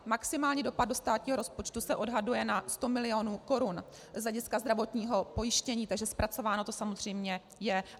Maximální dopad do státního rozpočtu se odhaduje na 100 milionů korun z hlediska zdravotního pojištění, takže zpracováno to samozřejmě je.